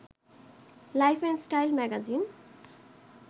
life and style magazine